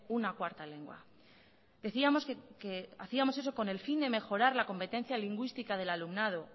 una cuarta lengua decíamos que hacíamos eso con el fin de mejorar la competencia lingüística del alumnado